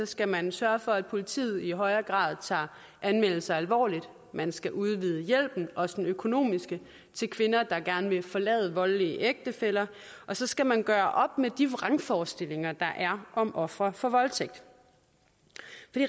skal man sørge for at politiet i højere grad tager anmeldelser alvorligt man skal udvide hjælpen også den økonomiske til kvinder der gerne vil forlade voldelige ægtefæller og så skal man gøre op med de vrangforestillinger der er om ofre for voldtægt